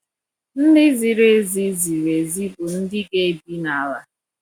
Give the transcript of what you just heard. "Ndị ziri ezi ziri ezi bụ ndị ga-ebi n’ala…"